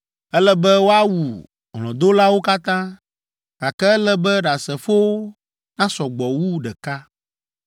“ ‘Ele be woawu hlɔ̃dolawo katã, gake ele be ɖasefowo nasɔ gbɔ wu ɖeka.